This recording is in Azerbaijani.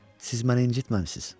Siz məni incitməmisiz.